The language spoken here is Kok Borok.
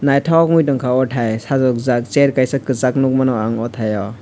naithok ungui tongkha o thai sajokjak chair kaisa kwchak nukmano ang oh thaio.